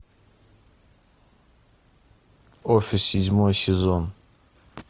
офис седьмой сезон